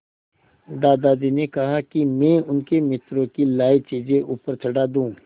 दादाजी ने कहा कि मैं उनके मित्रों की लाई चीज़ें ऊपर चढ़ा दूँ